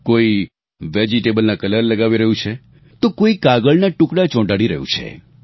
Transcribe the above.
કોઈ વેજીટેબલ ના કલર લગાવી રહ્યું છે તો કોઈ કાગળના ટુકડા ચોંટાડી રહ્યું છે